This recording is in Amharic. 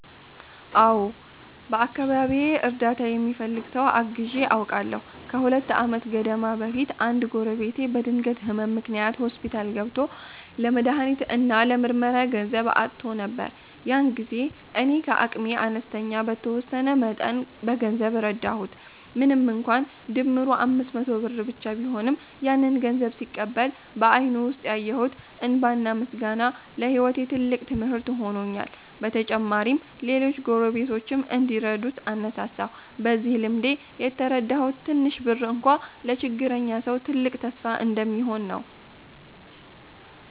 አዎ፣ በአካባቢዬ እርዳታ የሚፈልግ ሰው አግዘው አውቃለሁ። ከሁለት ዓመት ገደማ በፊት አንድ ጎረቤቴ በድንገት ህመም ምክንያት ሆስፒታል ገብቶ ለመድሃኒት እና ለምርመራ ገንዘብ አጥቶ ነበር። ያን ጊዜ እኔ ከአቅሜ አንስቼ በተወሰነ መጠን በገንዘብ ረዳሁት። ምንም እንኳን ድምሩ 500 ብር ብቻ ቢሆንም፣ ያንን ገንዘብ ሲቀበል በአይኑ ውስጥ ያየሁት እንባና ምስጋና ለህይወቴ ትልቅ ትምህርት ሆኖልኛል። በተጨማሪም ሌሎች ጎረቤቶችም እንዲረዱ አነሳሳሁ። በዚህ ልምዴ የተረዳሁት ትንሽ ብር እንኳ ለችግረኛ ሰው ትልቅ ተስፋ እንደሚሆን ነው።